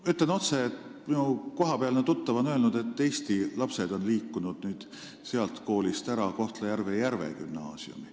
Ütlen otse, et minu kohapealne tuttav on öelnud, et eesti lapsed on liikunud sealt koolist ära Kohtla-Järve Järve Gümnaasiumi.